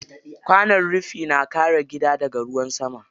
Kwanon rufi na kare gida daga ruwan sama.